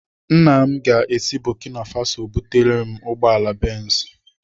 Nna m ga-esi Burkina Faso bulatara m ugbọala Benz.